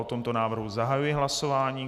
O tomto návrhu zahajuji hlasování.